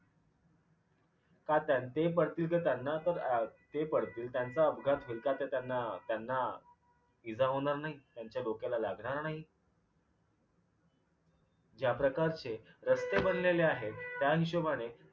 का त्यांचेही पडतील तर त्यांना तर अं ते पडतील त्यांचा अपघात होईल का ते त्यांना त्यांना इजा होणार नाही? त्यांच्या डोक्याला लागणार नाही? ज्या प्रकारचे रस्ते बनलेले आहेत त्या हिशोबाने